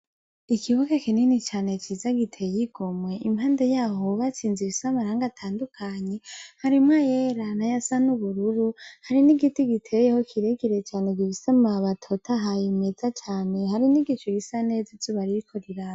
Ikibuga kinini cane ciza giteye igomwe, impande yaho hubatse inzu ibise amarangi atandukanye. Harimwo ay'era n'ayasa n'ubururu, hari n'igiti giteyeho kire kire cane gifise amababi atotahaye imeza cane. Hari n'igicu gisa neza izuba ririko riraka.